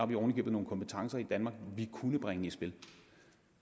vi oven i købet nogle kompetencer i danmark vi kunne bringe i spil